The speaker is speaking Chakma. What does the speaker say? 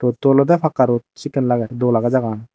dol ode pakka road sekken lage dol age jagahgan.